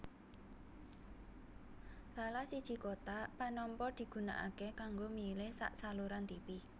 Salah siji kotak panampa digunakaké kanggo milih sak saluran tipi